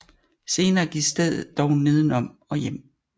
Senere gik stedet dog neden om og hjem